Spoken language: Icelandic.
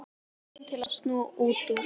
spyr hún til að snúa út úr.